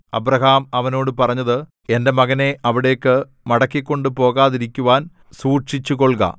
Abraham അവനോട് പറഞ്ഞത് എന്റെ മകനെ അവിടേക്കു മടക്കിക്കൊണ്ടു പോകാതിരിക്കുവാൻ സൂക്ഷിച്ചുകൊൾക